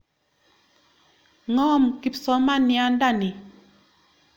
Ng'om kipsomanianda ni.